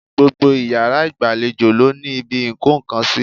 Gbogbo iyàrá ìgbàlejò ló ní ibi ìkó nkan sí